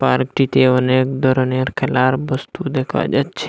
আরেকটি টেবিনে এক ধরনের খেলার বস্তু দেখা যাচ্ছে।